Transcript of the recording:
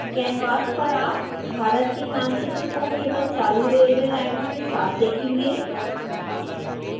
canvas पर आप भारत के मानचित्र को केवल चालू रेलवे लाइनों के साथ देखेंगे